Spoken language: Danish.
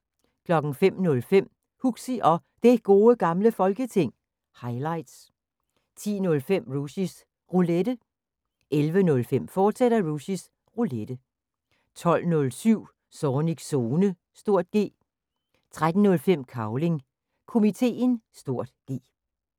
05:05: Huxi og Det Gode Gamle Folketing – highlights 10:05: Rushys Roulette 11:05: Rushys Roulette, fortsat 12:07: Zornigs Zone (G) 13:05: Cavling Komiteen (G)